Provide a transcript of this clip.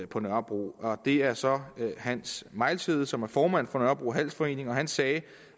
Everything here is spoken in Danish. på nørrebro det er så hans mejlshede som er formand for nørrebro handelsforening og han sagde